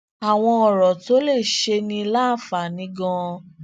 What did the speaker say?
àwọn ọrọ tó lè ṣe ni láǹfààní ganan